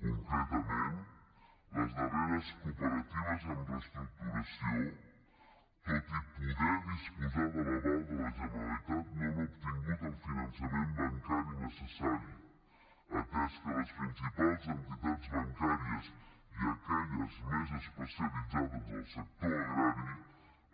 concretament les darreres cooperatives en reestructuració tot i poder disposar de l’aval de la generalitat no han obtingut el finançament bancari necessari atès que les principals entitats bancàries i aquelles més especialitzades en el sector agrari